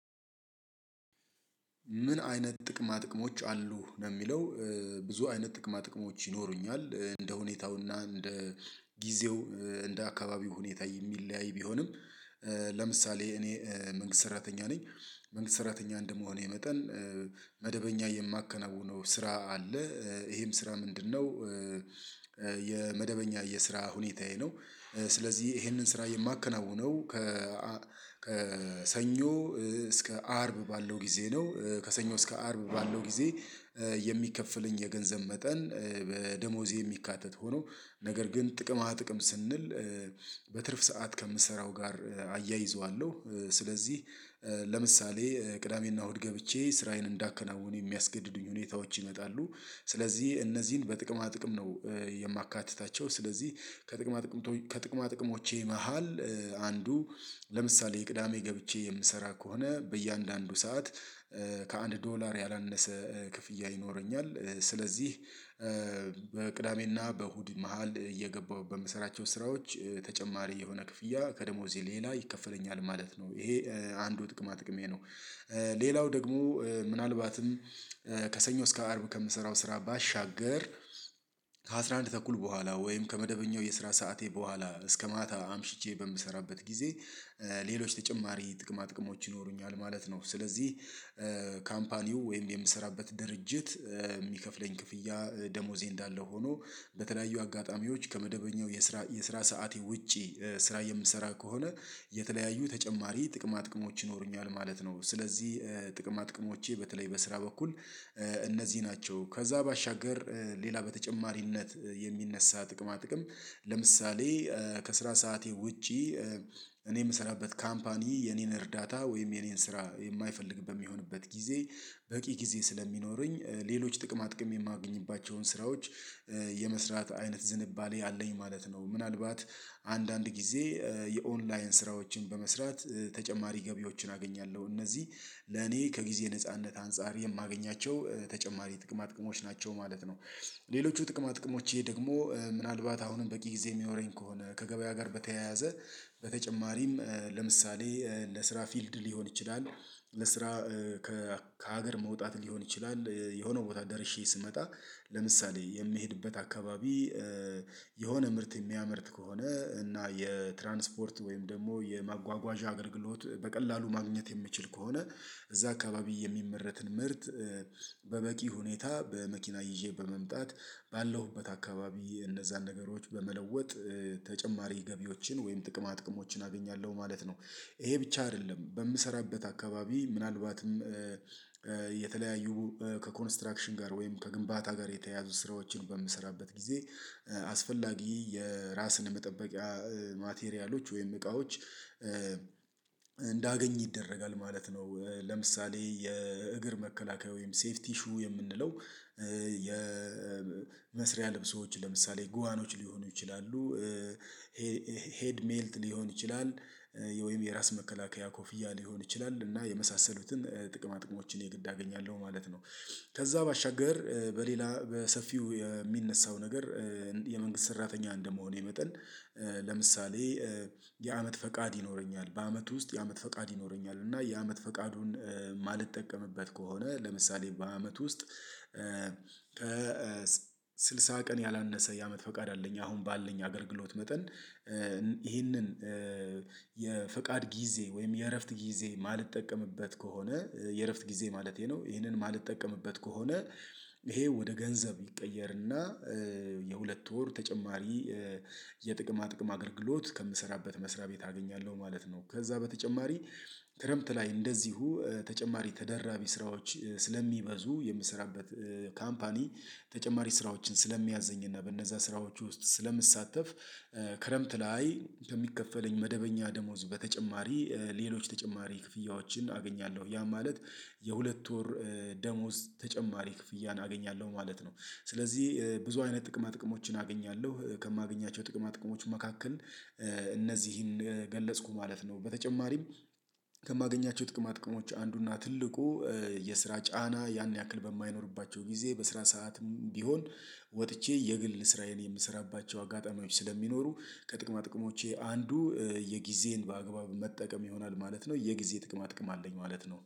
ምን አይነት ጥቅማ ጥቅሞች አሉ ነው የሚለው? ብዙ አይነት ጥቅማ ጥቅሞች ይኖሩኛል እንደ ሁኔታውና እንደ ጊዜው እንደ አካባቢው ሁኔታ የሚለያይ ቢሆንም። ለምሳሌ እኔ መንግስት ሰራተኛ ነኝ። መንግስት ሰራተኛ እንደመሆኔ መጠን መደበኛ የማከናውነው ስራ አለ ይሄም ስራ ምንድነው? የመደበኛ የስራ ሁኔታዬ ነው። ስለዚህ ይሄንን ስራ የማከናውነው ከ ከሰኞ እስከ አርብ ባለው ጊዜ ነው። ከሰኞ እስከ አርብ ባለው ጊዜ የሚከፍለኝ የገንዘብ መጠን በደሞዜ የሚካተት ሆኖ ነገር ግን ጥቅማ ጥቅም ስንል። በትርፍ ሰዓት ከምሰራው ጋር አያይዘዋለሁ ስለዚህ ለምሳሌ ቅዳሜና እሁድ ገብቼ ስራዬን እንዳከናውን የሚያስገድዱኝ ሁኔታዎች ይመጣሉ። ስለዚህ እነዚህን በጥቅማ ጥቅም ነው። የማካትታቸው ስለዚህ ከጥቅማ ጥቅም ከጥቅማ ጥቅሞቼ መሃል አንዱ ለምሳሌ ቅዳሜ ገብቼ የምሰራ ከሆነ በእያንዳንዱ ሰዓት ከአንድ ዶላር ያላነሰ ክፍያ ይኖረኛል። ስለዚህ በቅዳሜና በእሁድ መሃል እየገባሁ በምሰራቸው ስራዎች ተጨማሪ የሆነ ክፍያ ከደሞዜ ሌላ ይከፈለኛል ማለት ነው ይሄ አንዱ ጥቅማ ጥቅሜ ነው። ሌላው ደግሞ ምናልባትም ከሰኞ እስከ አርብ ከምሰራው ስራ ባሻገር ከአሥራ አንድ ተኩል በኋላ ወይም ከመደበኛው የስራ ሰዓቴ በኋላ እስከ ማታ አምሽቼ በምሰራበት ጊዜ ሌሎች ተጨማሪ ጥቅማ ጥቅሞች ይኖሩኛል ማለት ነው። ስለዚህ ካምፓኒው ወይም የምሰራበት ድርጅት የሚከፍለኝ ክፍያ ደሞዜ እንዳለ ሆኖ በተለያዩ አጋጣሚዎች ከመደበኛው የስራ የስራ ሰዓቴ ውጪ ስራ የምሰራ ከሆነ የተለያዩ ተጨማሪ ጥቅማ ጥቅሞች ይኖሩኛል ማለት ነው። ስለዚህ ጥቅማ ጥቅሞቼ በተለይ በስራ በኩል እነዚህ ናቸው። ከዛ ባሻገር ሌላ በተጨማሪነት የሚነሳ ጥቅማ ጥቅም ለምሳሌ ከስራ ሰዓቴ ውጪ እኔ የምሰራበት ካምፓኒ የኔን እርዳታ ወይም የኔን ስራ የማይፈልግበት የሚሆንበት ጊዜ በቂ ጊዜ ስለሚኖረኝ ሌሎች ጥቅማ ጥቅም የማገኝባቸውን ስራዎች የመስራት አይነት ዝንባሌ አለኝ ማለት ነው። ምናልባት አንዳንድ ጊዜ የኦንላይን ስራዎችን በመስራት ተጨማሪ ገቢዎችን አገኛለሁ እነዚህ ለኔ ከጊዜ ነጻነት አንፃር የማገኛቸው ተጨማሪ ጥቅማ ጥቅሞች ናቸው ማለት ነው። ሌሎች ጥቅማ ጥቅሞች ይሄ ደግሞ ምናልባት አሁንም በቂ ጊዜ የሚኖረኝ ከሆነ ከገበያ ጋር በተያያዘ በተጨማሪም ለምሳሌ ለስራ ፊልድ ሊሆን ይችላል። ለስራ ከሀገር መውጣት ሊሆን ይችላል። የሆነው ቦታ ደርሼ ስመጣ ለምሳሌ የሚሄድበት አካባቢ የሆነ ምርት የሚያመርት ከሆነ እና የትራንስፖርት ወይም ደግሞ የማጓጓዣ አገልግሎት በቀላሉ ማግኘት የምችል ከሆነ እዛ አካባቢ የሚመረትን ምርት በበቂ ሁኔታ በመኪና ይዤ በመምጣት ባለሁበት አካባቢ እነዛን ነገሮች በመለወጥ ተጨማሪ ገቢዎችን ወይም ጥቅማ ጥቅሞችን አገኛለሁ ማለት ነው። ይሄ ብቻ አይደለም በምሰራበት አካባቢ ምናልባትም የተለያዩ ከኮንስትራክሽን ጋር ወይም ከግንባታ ጋር የተያያዙ ስራዎችን በምሰራበት ጊዜ አስፈላጊ የራስን መጠበቂያ ማቴሪያሎች ወይም እቃዎች እንዳገኝ ይደረጋል ማለት ነው። ለምሳሌ የእግር መከላከያ ወይም ሴፍቲ ኢሹ የምንለው የመስሪያ ልብሶች ለምሳሌ ጉዋኖች ሊሆኑ ይችላሉ። ሄድ ሜልት ሊሆን ይችላል ወይም የራስ መከላከያ ኮፍያ ሊሆን ይችላል እና የመሳሰሉትን ጥቅማ ጥቅሞችን የግድ አገኛለሁ ማለት ነው። ከዛ ባሻገር በሌላ በሰፊው የሚነሳው ነገር የመንግስት ሰራተኛ እንደመሆኔ መጠን ለምሳሌ የአመት ፈቃድ ይኖረኛል በአመት ውስጥ የአመት ፈቃድ ይኖረኛል እና የአመት ፈቃዱን የማልጠቀምበት ከሆነ ለምሳሌ በአመት ውስጥ ከስልሳ ቀን ያላነሰ የአመት ፈቃድ አለኝ። አሁን ባለኝ አገልግሎት መጠን ይህንን የፍቃድ ጊዜ ወይም የእረፍት ጊዜ ማልጠቀምበት ከሆነ የእረፍት ጊዜ ማለቴ ነው። ይሄንን ማልጠቀምበት ከሆነ ይሄ ወደ ገንዘብ ይቀየርና የሁለት ወር ተጨማሪ የጥቅማ ጥቅም አገልግሎት ከምሰራበት መስሪያ ቤት አገኛለሁ ማለት ነው። ከዛ በተጨማሪ ክረምት ላይ እንደዚሁ ተጨማሪ ተደራቢ ስራዎች ስለሚበዙ የምስራበት ካምፓኒ ተጨማሪ ስራዎችን ስለሚያዝኝና በእነዛ ስራዎች ውስጥ ስለምሳተፍ ክረምት ላይ ከሚከፈለኝ መደበኛ ደሞዝ በተጨማሪ ሌሎች ተጨማሪ ክፍያዎችን አገኛለሁ ያ ማለት የሁለት ወር ደሞዝ ተጨማሪ ክፍያ አገኛለሁ ማለት ነው። ስለዚህ ብዙ አይነት ጥቅማ ጥቅሞችን አገኛለሁ ከማገኛቸው ጥቅማ ጥቅሞች መካከል እነዚህን ገለጽኩ ማለት ነው። በተጨማሪም ከማገኛቸው ጥቅማ ጥቅሞች አንዱና ትልቁ የስራ ጫና ያን ያክል በማይኖርባቸው ጊዜ በስራ ሰዓት ቢሆን ወጥቼ የግል ስራዬን የምሰራባቸው አጋጣሚዎች ስለሚኖሩ ከጥቅማ ጥቅሞቼ አንዱ የጊዜን በአግባብ መጠቀም ይሆናል ማለት ነው። የጊዜ ጥቅማ ጥቅም አለኝ ማለት ነው